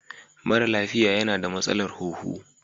Mara lafiya yana da matsalar huhu.